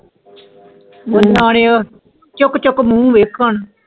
ਨਾਲ ਲੈ ਓ ਚੁੱਕ ਚੁੱਕ ਮੂੰਹ ਵੇਖੋ ਹੁਣ